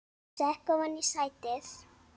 Sekk ofan í sætið.